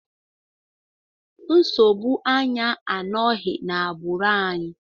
Nsogbu anya anọghị n'agbụrụ anyị.